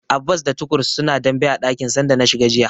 Abbas da Tukur suna dambe a dakin sanda na shiga jiya.